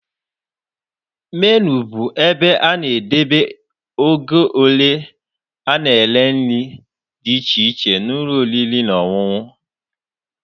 Menu bụ ebe a na-ede oge ole a na-ere nri dị iche iche n'ụlọ oriri na ọṅụṅụ.